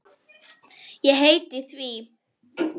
Ég heiti því.